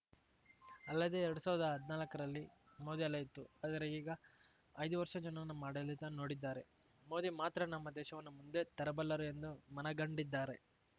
ಅಲ್ಲದೆ ಎರಡ್ ಸಾವ್ರ್ದಾ ಹದ್ನಾಲ್ಕರಲ್ಲಿ ಮೋದಿ ಅಲೆ ಇತ್ತು ಆದರೆ ಈಗ ಐದು ವರ್ಷ ಜನ ನಮ್ಮ ಆಡಳಿತ ನೋಡಿದ್ದಾರೆ ಮೋದಿ ಮಾತ್ರ ನಮ್ಮ ದೇಶವನ್ನು ಮುಂದೆ ತರಬಲ್ಲರು ಎಂದು ಮನಗಂಡಿದ್ದಾರೆ